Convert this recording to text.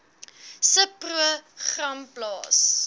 subpro gram plaas